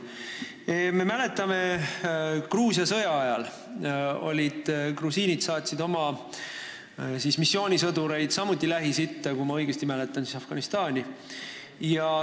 Me mäletame, et Gruusia sõja ajal grusiinid saatsid oma missioonisõdureid samuti Lähis-Itta, kui ma õigesti mäletan, siis Afganistani.